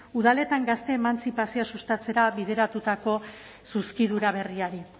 udaletan gazte emantzipazioak sustatzera bideratutako zuzkidura berriari